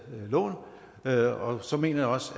lån og så mener jeg også